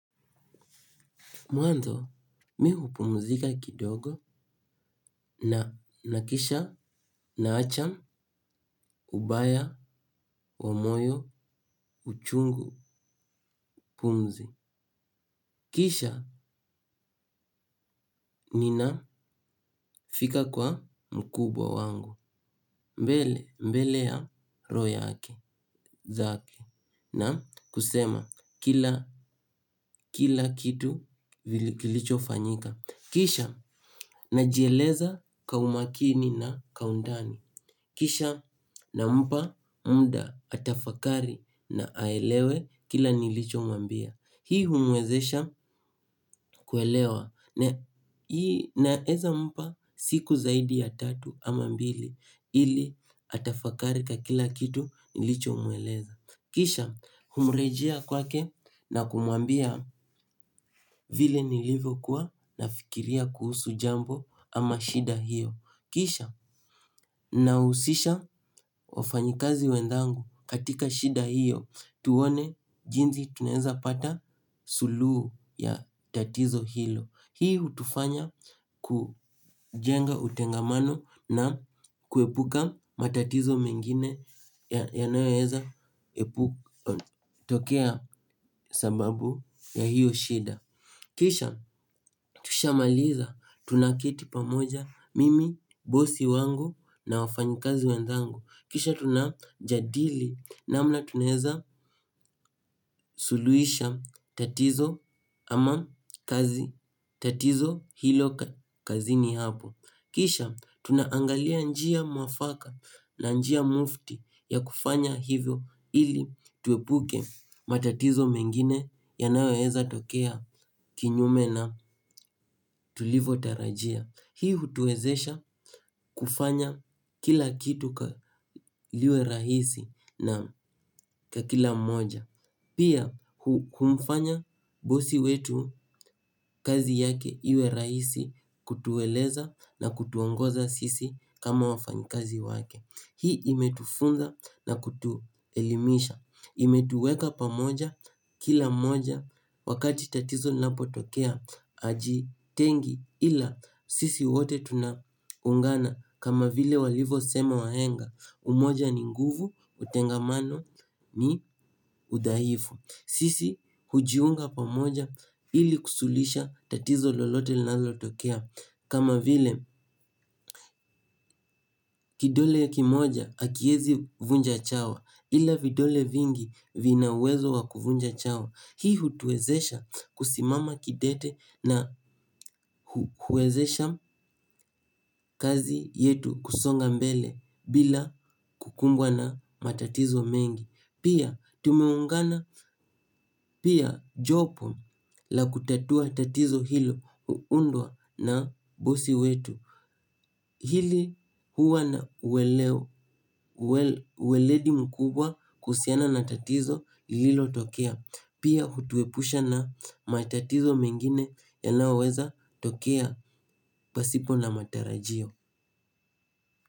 Mwanzo mimi hupumzika kidogo na nahakikisha naacha ubaya wa moyo uchungu pumzi. Kisha ninafika kwa mkubwa wangu mbele mbele ya roho yake zake na kusema kila kila kitu kilichofanyika. Kisha najieleza kwa umakini na kwa undani. Kisha nampa muda atafakari na aelewe kile nilichomwambia. Hii humwezesha kuelewa naeza mpa siku zaidi ya tatu ama mbili ili atafakari kila kitu nilichomweleza. Kisha humrejea kwake na kumwambia vile nilivokuwa nafikiria kuhusu jambo ama shida hiyo. Kisha nahusisha wafanyikazi wenzangu katika shida hiyo tuone jinsi tunaeza pata suluhu ya tatizo hilo. Hii hutufanya kujenga utengamano na kuepuka matatizo mengine yanayoeza tokea sababu ya hiyo shida. Kisha tushamaliza tunaketi pamoja mimi, bosi wangu na wafanyikazi wenzangu. Kisha tunajadili namna tunaeza suluhisha tatizo ama kazi tatizo hilo kazini hapo. Kisha tunaangalia njia mwafaka na njia mufti ya kufanya hivyo ili tuepuke matatizo mengine yanayoweza tokea kinyume na tulivotarajia. Hii hutuwezesha kufanya kila kitu liwe rahisi naam kwa kila mmoja. Pia kumfanya bosi wetu kazi yake iwe rahisi kutueleza na kutuongoza sisi kama wafanyi kazi wake. Hii imetufunza na kutuelimisha. Imetuweka pamoja kila mmoja wakati tatizo linapotokea hajitengi ila sisi wote tunaungana. Kama vile walivosema wahenga umoja ni nguvu, utengamano ni udhaifu. Sisi hujiunga pamoja ili kusuluhisha tatizo lolote linazotokea. Kama vile kidole kimoja hakiezi vunja chawa. Ila vidole vingi vina uwezo wa kuvunja chawa. Hii hutuwezesha kusimama kidete na huwezesha kazi yetu kusonga mbele bila kukumbwa na matatizo mengi. Pia tumeungana pia jopo la kutatua tatizo hilo huundwa na bosi wetu. Hili huwa na uweledi mkubwa kuhusiana na tatizo lililotokea. Pia hutuepusha na matatizo mengine yanayoweza tokea pasipo na matarajio.